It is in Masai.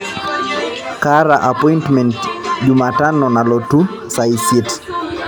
kaata apointimen jumatano nalotu saa isiet